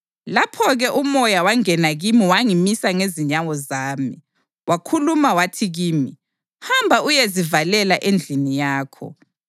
Lapho-ke uMoya wangena kimi wangimisa ngezinyawo zami. Wakhuluma wathi kimi, “Hamba uyezivalela endlini yakho.